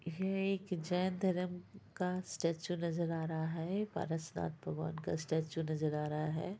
यह एक जैन धरम का स्टेचू नजर आ रहा है पारसनाथ भगवन का स्टेचू नजर आ रहा है।